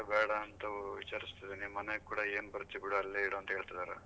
ಅದಕ್ಕೇ ಬೇಡ ಅಂತ ವಿಚಾರಿಸ್ತಿದೀನಿ ಮನೆಗ್ ಕೂಡ ಏನ್ ಬರ್ತಿಯಾ ಬಿಡು ಅಲ್ಲೇ ಇರು ಅಂತ ಹೇಳ್ತಿದಾರೆ